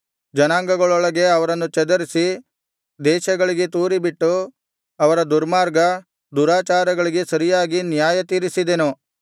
ಜನಾಂಗಗಳೊಳಗೆ ಅವರನ್ನು ಚದರಿಸಿ ದೇಶಗಳಿಗೆ ತೂರಿಬಿಟ್ಟು ಅವರ ದುರ್ಮಾರ್ಗ ದುರಾಚಾರಗಳಿಗೆ ಸರಿಯಾಗಿ ನ್ಯಾಯತೀರಿಸಿದೆನು